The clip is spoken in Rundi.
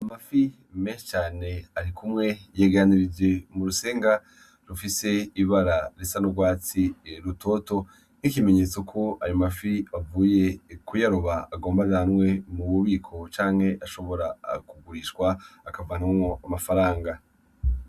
Amafi menshi cane arikumwe yegaranirijwe mu rusenga rufise ibara risa n'urwatsi rutoto nk'ikimenyetso ko ayo mafi bavuye kuyaroba agomba ajanwe mu bubiko, canke ashobora kugurishwa akavanamwo amafaranga.